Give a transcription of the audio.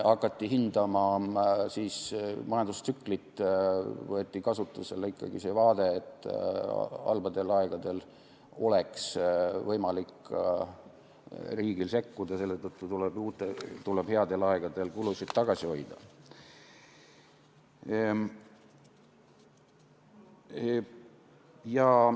Hakati hindama majandustsüklit, võeti kasutusele ikkagi see vaade, et halbadel aegadel oleks võimalik ka riigil sekkuda, selle tõttu tuleb headel aegadel kulutamist tagasi hoida.